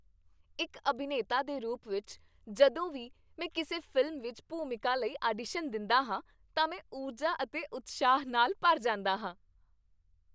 ਇੱਕ ਅਭਿਨੇਤਾ ਦੇ ਰੂਪ ਵਿੱਚ, ਜਦੋਂ ਵੀ ਮੈਂ ਕਿਸੇ ਫ਼ਿਲਮ ਵਿੱਚ ਭੂਮਿਕਾ ਲਈ ਆਡੀਸ਼ਨ ਦਿੰਦਾ ਹਾਂ ਤਾਂ ਮੈਂ ਊਰਜਾ ਅਤੇ ਉਤਸ਼ਾਹ ਨਾਲ ਭਰ ਜਾਂਦਾ ਹਾਂ।